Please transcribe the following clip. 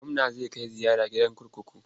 Gwamna zai kai ziyara gidan kurkuku.